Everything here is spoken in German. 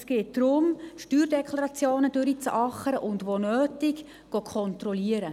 Es geht darum, Steuerdeklarationen durchzuackern und, wo nötig, zu kontrollieren.